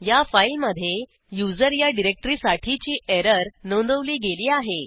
या फाईलमधे user या डिरेक्टरीसाठीची एरर नोंदवली गेली आहे